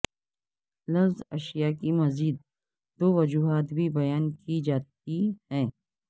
لفظ ایشیا کی مزید دو وجوہات بھی بیان کی جاتی ہیں